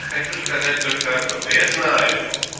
хочу сказать только одно что я знаю